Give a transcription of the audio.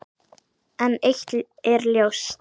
En eitt er ljóst.